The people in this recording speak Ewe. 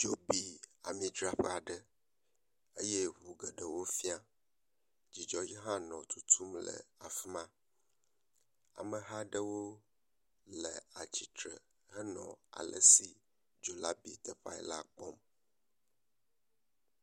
Dzo bi amidzraƒe aɖe eye ʋu geɖewo fĩa, dzidzɔ ɣi hã nɔ tutum le afima. Ameha aɖewo nɔ atsitre henɔ alesi dzo la bi teƒe la kpɔm.